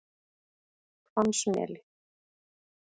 Hvammsmeli